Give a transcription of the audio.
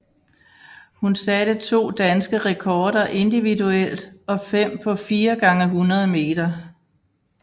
Hun satte to danske rekorder individuelt og fem på 4 x 100 meter